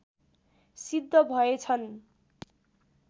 सिद्ध भए छन्।